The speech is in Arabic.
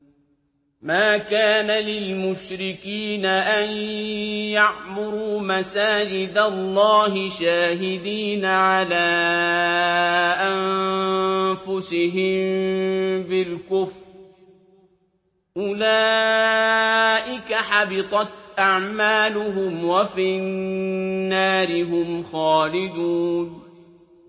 مَا كَانَ لِلْمُشْرِكِينَ أَن يَعْمُرُوا مَسَاجِدَ اللَّهِ شَاهِدِينَ عَلَىٰ أَنفُسِهِم بِالْكُفْرِ ۚ أُولَٰئِكَ حَبِطَتْ أَعْمَالُهُمْ وَفِي النَّارِ هُمْ خَالِدُونَ